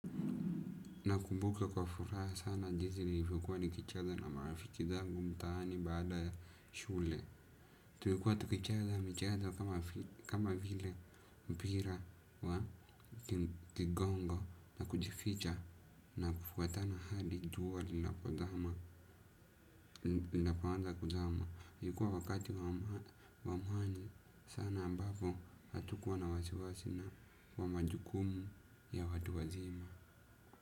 Nakumbuke kwa furaha sana jinsi nilivyokuwa nikicheza na marafiki zangu mtaani baada ya shule. Tulikuwa tukicheza michezo kama vile mpira wa kigongo na kujificha na kufuatana hadi jua linapozama, linapoanza kuzama. Ilikuwa wakati wa amani sana ambapo hatukuwa na wasiwasi na, wa majukumu ya watu wazima.